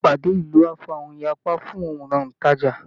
Ìpàdé ìlú á fa ìyapa fún àwọn òntajà